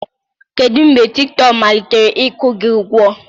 Kedu mgbe TikTok malitere ịkwụ gị ụgwọ?